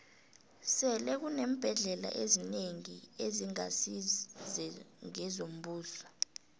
sele kuneembhendlela ezinengi ezingasi ngezombuso